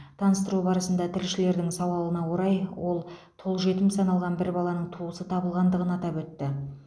таныстыру барысында тілшілердің сауалына орай ол тұл жетім саналған бір баланың туысы табылғандығын атап өтті